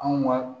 Anw ka